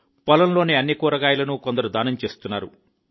పొలంలోని అన్ని కూరగాయలను కొందరు దానం చేస్తున్నారు